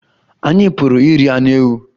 Anyị Pụrụ iri anụ ewu